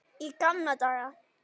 Í gamla daga.